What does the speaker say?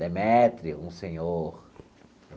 Demetrio, um senhor.